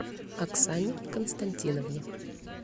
оксане константиновне